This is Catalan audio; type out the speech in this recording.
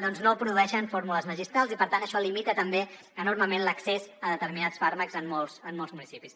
no produeixen fórmules magistrals i per tant això limita també enormement l’accés a determinats fàrmacs en molts municipis